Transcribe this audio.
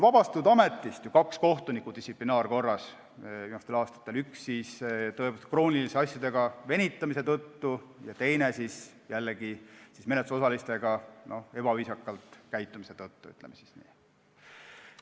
Distsiplinaarkorras on viimastel aastatel ametist vabastatud kaks kohtunikku, üks asjadega kroonilise venitamise tõttu ja teine jällegi menetlusosalistega ebaviisaka käitumise tõttu, ütleme siis nii.